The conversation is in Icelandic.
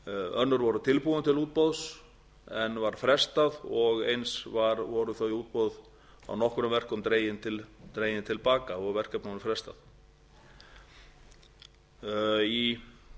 voru tilbúin til útboðs en var frestað og eins voru þau útboð á nokkrum verkum dregin til baka og verkefnunum frestað fyrir